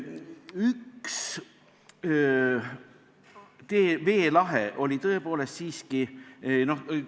Üks veelahe tõepoolest siiski oli.